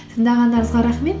тыңдағандарыңызға рахмет